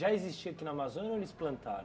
Já existia aqui na Amazônia ou eles plantaram?